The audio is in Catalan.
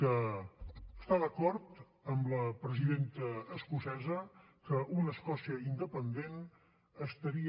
que està d’acord amb la presidenta escocesa que una escòcia independent estaria